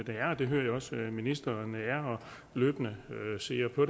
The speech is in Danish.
er og det hører jeg også at ministeren er og løbende ser på